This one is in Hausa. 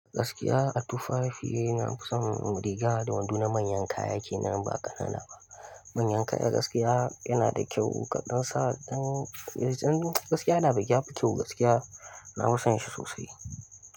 Gaskiya, atufafi na fison riga da wando na manyan kaya ke nan ba ƙanana ba. Manyan kaya gaskiya yana da kyau, kaɗan sa ɗan, gaskiya da ba kyau gaskiya, na fi son shi sosai.